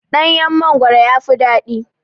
Ɗanyan mangwaro yafi daɗi